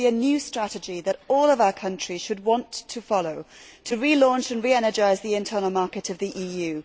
It should be a new strategy that all of our countries should want to follow to re launch and re energise the internal market of the EU.